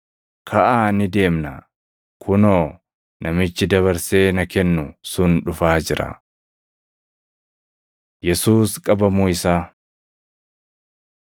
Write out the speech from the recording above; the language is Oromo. Kaʼaa ni deemnaa! Kunoo, namichi dabarsee na kennu sun dhufaa jira.” Yesuus Qabamuu Isaa 14:43‑50 kwf – Mat 26:47‑56; Luq 22:47‑50; Yoh 18:3‑11